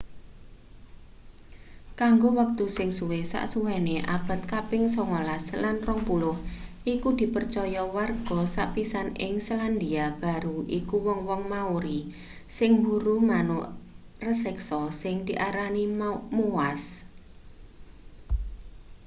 kanggo wektu sing suwe sasuwene abad kaping sangalas lan rongpuluh iku dipercaya warga sepisan ing selandia baru iku wong-wong maori sing mburu manuk raseksa sing diarani moas